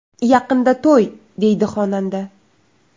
Yaqinda to‘y”, deydi xonanda.